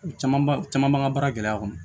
Caman ba caman b'an ka baara gɛlɛya kɔnɔ